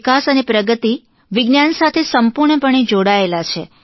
ભારતના વિકાસ અને પ્રગતિ વિજ્ઞાન સાથે સંપૂર્ણપણે જોડાયેલાં છે